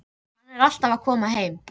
Hann er alltaf að koma heim.